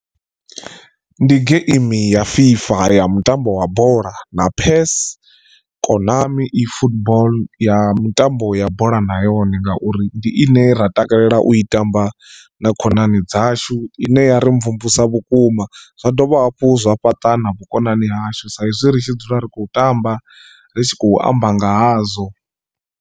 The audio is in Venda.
Ndi geimi ya FIFA ya mutambo wa bola na Pairs Konami E football ya mitambo ya bola na yone ngauri ndi ine ra takalela u i tamba na khonani dzashu ine ya ri mvumvusa vhukuma zwa dovha hafhu zwa fhaṱa na vhukonani hashu sa izwi ri tshi dzula ri khou tamba ri tshi khou amba nga hazwo.